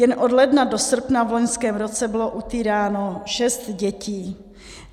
Jen od ledna do srpna v loňském roce bylo utýráno šest dětí.